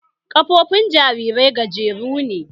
Ƙafofin jarirai gajeru ne